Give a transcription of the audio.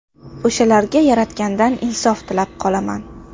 O‘shalarga yaratgandan insof tilab qolaman.